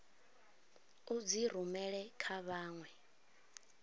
u dzi rumela kha vhanwe